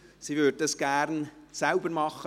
sie würde es gerne selbst machen.